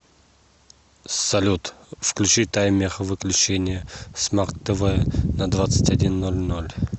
салют включи таймер выключения смарт тв на двадцать один ноль ноль